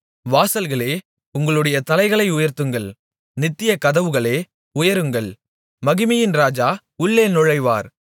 வாசல்களே உங்களுடைய தலைகளை உயர்த்துங்கள் நித்திய கதவுகளே உயருங்கள் மகிமையின் இராஜா உள்ளே நுழைவார்